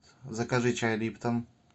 закажи чай липтон